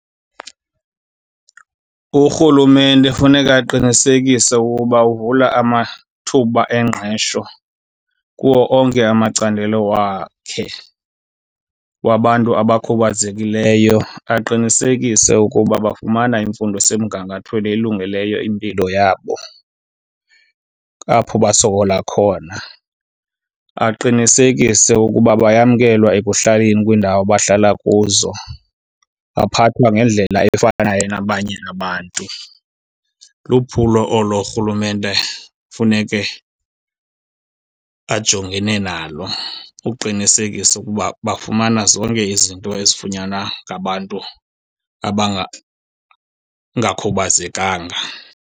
Urhulumente funeka aqinisekise ukuba uvula amathuba engqesho kuwo onke amacandelo wakhe wabantu abakhubazekileyo. Aqinisekise ukuba bafumana imfundo esemgangathweni elungeleyo impilo yabo apho basokola khona. Aqinisekise ukuba bayamkelwa ekuhlaleni, kwiindawo abahlala kuzo baphathwa ngendlela efanayo nabanye abantu. Luphulo olo urhulumente funeke ajongene nalo uqinisekisa ukuba bafumana zonke izinto ezifunyanwa ngabantu .